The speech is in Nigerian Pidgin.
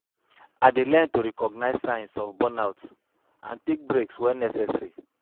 I dey learn to recognize signs of burnout and take breaks when necessary.